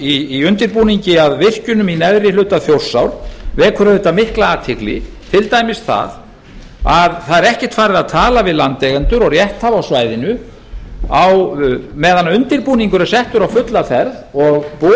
í undirbúningi að virkjunum í neðri geta þjórsár vekur auðvitað mikla athygli til dæmis það að það er ekkert farið að tala við landeigendur og rétthafa á svæðinu meðan undirbúningur er settur á fulla ferð og boðin